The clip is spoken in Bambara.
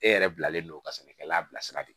E yɛrɛ bilalen no ka sɛnɛkɛla bila sira de